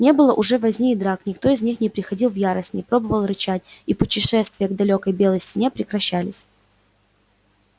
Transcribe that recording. не было уже возни и драк никто из них не приходил в ярость не пробовал рычать и путешествия к далёкой белой стене прекращались